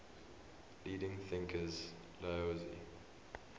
leading thinkers laozi